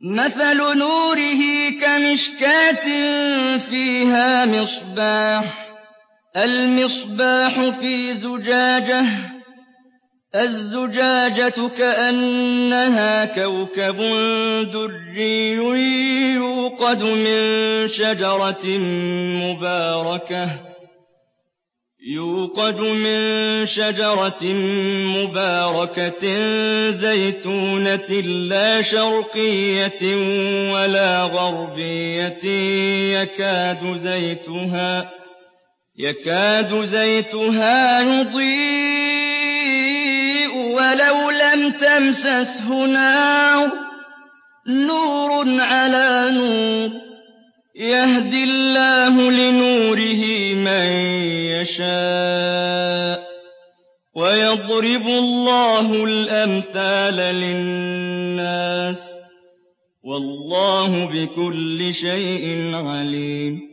مَثَلُ نُورِهِ كَمِشْكَاةٍ فِيهَا مِصْبَاحٌ ۖ الْمِصْبَاحُ فِي زُجَاجَةٍ ۖ الزُّجَاجَةُ كَأَنَّهَا كَوْكَبٌ دُرِّيٌّ يُوقَدُ مِن شَجَرَةٍ مُّبَارَكَةٍ زَيْتُونَةٍ لَّا شَرْقِيَّةٍ وَلَا غَرْبِيَّةٍ يَكَادُ زَيْتُهَا يُضِيءُ وَلَوْ لَمْ تَمْسَسْهُ نَارٌ ۚ نُّورٌ عَلَىٰ نُورٍ ۗ يَهْدِي اللَّهُ لِنُورِهِ مَن يَشَاءُ ۚ وَيَضْرِبُ اللَّهُ الْأَمْثَالَ لِلنَّاسِ ۗ وَاللَّهُ بِكُلِّ شَيْءٍ عَلِيمٌ